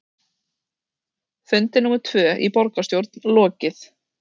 Fundi númer tvö í borgarstjórn lokið